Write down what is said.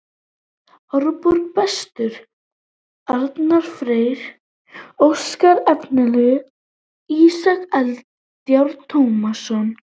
Árborg: Bestur: Arnar Freyr Óskarsson Efnilegastur: Ísak Eldjárn Tómasson